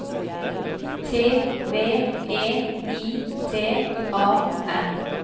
T V E I T A N